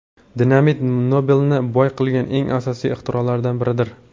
Dinamit Nobelni boy qilgan eng asosiy ixtirolaridan biridir.